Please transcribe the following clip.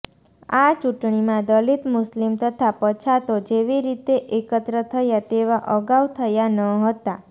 આ ચૂંટણીમાં દલીત મુસ્લિમ તથા પછાતો જેવી રીતે એકત્ર થયા તેવા અગાઉ થયા ન હતાં